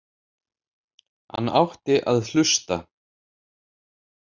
Hann átti að hlusta.